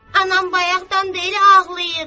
Anam bayaqdan bəylə ağlayır.